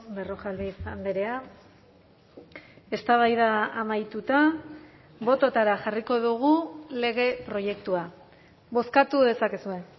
berrojalbiz andrea eztabaida amaituta bototara jarriko dugu lege proiektua bozkatu dezakezue